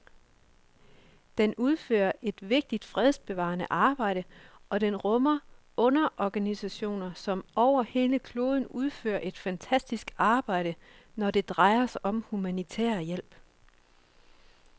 Den udfører et vigtigt fredsbevarende arbejde, og den rummer underorganisationer, som over hele kloden udfører et fantastisk arbejde, når det drejer sig om humanitær hjælp.